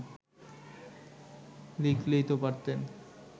লিখলেই তো পারতেন